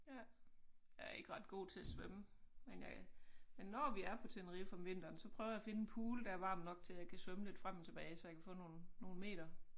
Jeg er ikke ret god til at svømme men jeg men når vi er på Tenerife om vinteren så prøver jeg at finde en pool der er varm nok til jeg kan svømme lidt frem og tilbage så jeg kan få nogle nogle meter